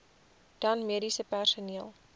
dan mediese personeel